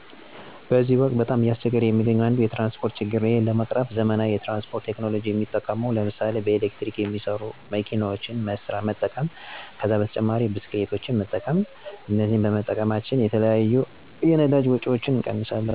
በዚህ ወቅት በጣም እያስቸገረ የሚገኘው አንዱ የትራንስፖርት ችግር ነው። በመሆኑም አዳዲስ የትራንስፖርት ቴክኖሎጂ ሲመጣ በጣም ጦሩ ይሆናል ማለት ነው። ምሥሌ በቻርጅ ሚሠራ መኪና ሲገባ ከመጠን በላይ እየጨመረ የመጣውንና ህገወጥነትን እያስፋፋ የመጣውን እና ማህበረሠቡን እያማረረ ሚገኘውን የነዳጅ ፍጆታን ይቀንሣል፣ የ ከካባቢ ብክለትን ይቀንሣል፣ ጊዜን ይቆጥባል።........ወዘተ ጥቅሞች ይኖሩታል ማለት ነው። ብስክሌትን ብንወሰድም እንዱሁ፦ ሰልፍ ሣንጠብቅ በፈለግነው ጊዜ እንቀሣቀሳለን፣ ለጤናችንም ይጠቅማል፣ የታክሲ ወጭንም ይቀንሣል በጥቅሉ ጠቃሚ ናቸው።